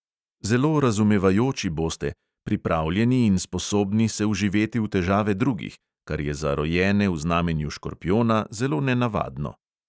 Zelo razumevajoči boste, pripravljeni in sposobni se vživeti v težave drugih, kar je za rojene v znamenju škorpijona zelo nenavadno.